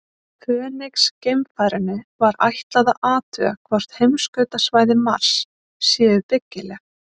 Fönix-geimfarinu var ætlað að athuga hvort heimskautasvæði Mars séu byggileg.